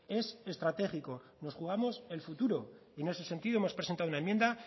es estratégico nos jugamos el futuro y en ese sentido hemos presentado una enmienda